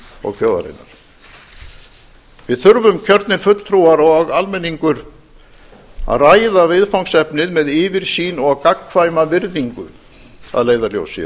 og þjóðarinnar við þurfum kjörnir fulltrúar og almenningur að ræða viðfangsefnið með yfirsýn og gagnkvæma virðingu að leiðarljósi